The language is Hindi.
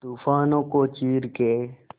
तूफानों को चीर के